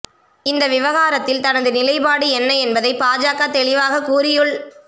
இந்த விவகாரத்தில் தனது நிலைப்பாடு என்ன என்பதை பாஜக தெளிவாகக் கூறியுள்